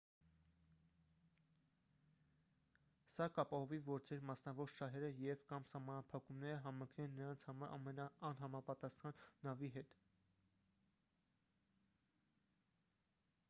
սա կապահովի որ ձեր մասնավոր շահերը և/կամ սահմանափակումները համընկնեն նրանց համար ամենահամապատասխան նավի հետ։